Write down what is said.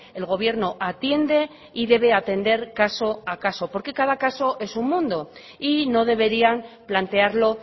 el gobierno atiende y debe atender caso a caso porque cada caso es un mundo y no deberían plantearlo